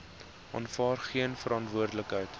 aanvaar geen verantwoordelikheid